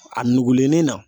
A nugulennin na